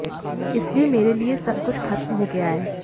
इसलिए मेरे लिए सब कुछ खत्म हो गया है